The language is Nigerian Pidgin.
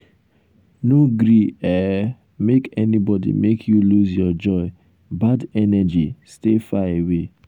no gree um make anybody make you lose your joy bad energy stay far away.